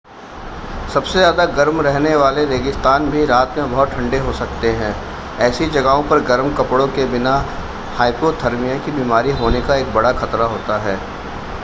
सबसे ज़्यादा गर्म रहने वाले रेगिस्तान भी रात में बहुत ठंडे हो सकते हैं ऐसी जगहों पर गर्म कपड़ों के बिना हाइपोथर्मिया की बीमारी होने का एक बड़ा ख़तरा होता है